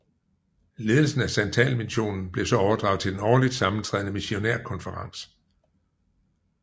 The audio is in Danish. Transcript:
Ledelsen af santalmissionen blev så overdraget til den årligt sammentrædende missionærkonferens